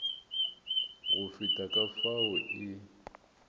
go feta ka fao e